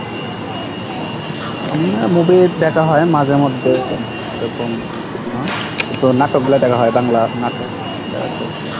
আমরা movie দেখা হয় মাঝে মধ্যে যখন এরকম তো নাটকগুলা দেখা হয়, বাংলা নাটক